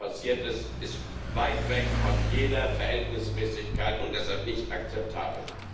Was dort passiert ist, ist weit weg von jeder Verhältnismäßigkeit und deshalb nicht akzeptabel.